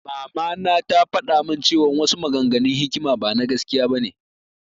Mama na tafaɗa mun cewan wasu maganganun hikima bana gaskiya bane